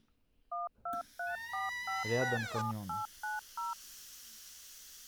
рядом каньон